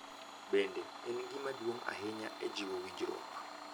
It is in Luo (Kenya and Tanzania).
Bende, en gima duong’ ahinya e jiwo winjruok.